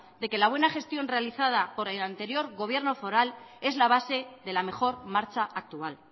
de que la buena gestión realizada por el anterior gobierno foral es la base de la mejor marcha actual